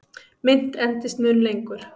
Mynt endist mun lengur.